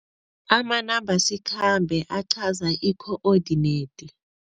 Amanambasikhambe aqhaza i-coordinate.